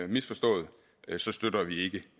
misforstået støtter vi ikke